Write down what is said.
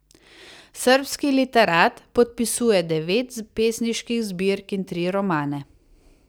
Srbski literat podpisuje devet pesniških zbirk in tri romane.